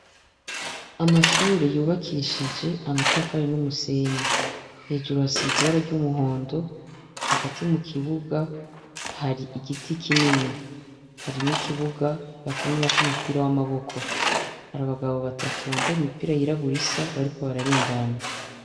Amashure yubakishije amatafari numisenyi hejuru hasize ibara ryumuhondo hagati mu kibuga hari igiti kinini hari nikibuga bakinirako umupira wamaboko harabagabo batatu bambaye imipira yirabura isa bariko bararengana